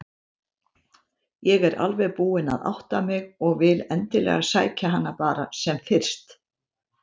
Ég er alveg búin að átta mig og vil endilega sækja hana bara sem fyrst.